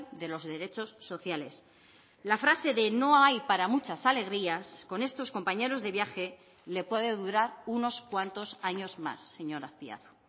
de los derechos sociales la frase de no hay para muchas alegrías con estos compañeros de viaje le puede durar unos cuantos años más señor azpiazu